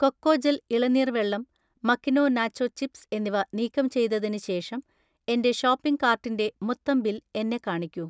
Cocogel ഇളനീർ വെള്ളം, മകിനോ നാച്ചോ ചിപ്സ് എന്നിവ നീക്കം ചെയ്‌തതിന് ശേഷം എന്‍റെ ഷോപ്പിംഗ് കാർട്ടിന്‍റെ മൊത്തം ബിൽ എന്നെ കാണിക്കൂ